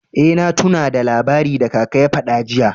Eh, na tunna da labari da kaka ya fada jiya.